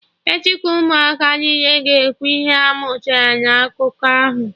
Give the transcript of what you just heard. Echi ka Ụmụaka niile ga-ekwu ihe ha mụtara na akụkọ ahụ